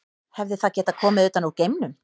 Hefði það getað komið utan úr geimnum?